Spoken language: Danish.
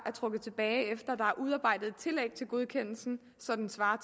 er trukket tilbage efter at er udarbejdet et tillæg til godkendelsen så den svarer